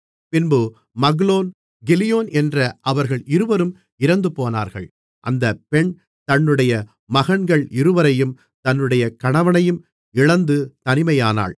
பின்பு Mahlon Chilion என்ற அவர்கள் இருவரும் இறந்துபோனார்கள் அந்தப் பெண் தன்னுடைய மகன்கள் இருவரையும் தன்னுடைய கணவனையும் இழந்து தனிமையானாள்